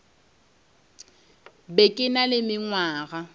be ke na le mengwaga